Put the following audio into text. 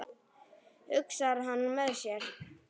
hugsar hann með sér.